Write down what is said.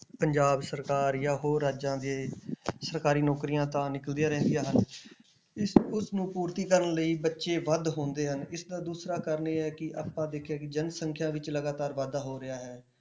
ਪੰਜਾਬ ਸਰਕਾਰ ਜਾਂ ਹੋਰ ਰਾਜਾਂ ਦੇ ਸਰਕਾਰੀ ਨੌਕਰੀਆਂ ਤਾਂ ਨਿਕਲਦੀਆਂ ਰਹਿੰਦੀਆਂ ਹਨ ਇਸ ਉਸਨੂੰ ਪੂਰਤੀ ਕਰਨ ਲਈ ਬੱਚੇ ਵੱਧ ਹੁੰਦੇ ਹਨ, ਇਸਦਾ ਦੂਸਰਾ ਕਾਰਨ ਇਹ ਹੈ ਕਿ ਆਪਾਂ ਦੇਖਿਆ ਕਿ ਜਨਸੰਖਿਆ ਵਿੱਚ ਲਗਾਤਾਰ ਵਾਧਾ ਹੋ ਰਿਹਾ ਹੈ।